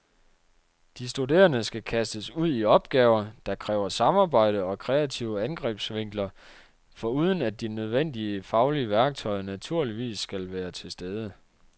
De studerende skal kastes ud i opgaver, der kræver samarbejde og kreative angrebsvinkler, foruden at de nødvendige faglige værktøjer naturligvis skal være til stede.